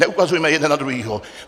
Neukazujme jeden na druhého.